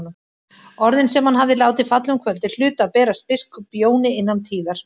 Orðin sem hann hafði látið falla um kvöldið hlutu að berast biskup Jóni innan tíðar.